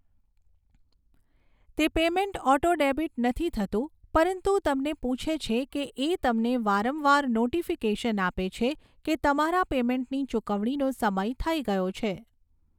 તે payment auto debit નથી થતું પરંતુ તમને પૂછે છે કે એ તમને વારંવાર નોટિફિકેશન આપે છે કે તમારા પેમૅન્ટની ચુકવણીનો સમય થઈ ગયો છે